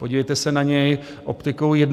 Podívejte se na něj optikou 21. století.